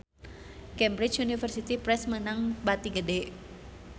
Cambridge Universiy Press meunang bati gede